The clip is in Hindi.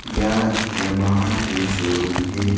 यह यामाहा के शोरूम है।